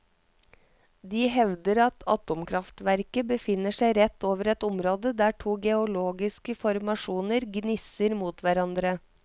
De hevder at atomkraftverket befinner seg rett over et område der to geologiske formasjoner gnisser mot hverandre.